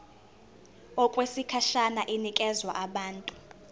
okwesikhashana inikezwa abantu